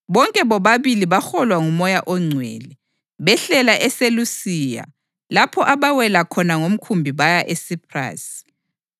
Bonke bobabili baholwa nguMoya oNgcwele, behlela eSelusiya lapho abawela khona ngomkhumbi baya eSiphrasi.